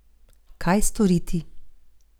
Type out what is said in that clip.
Kaj storiti?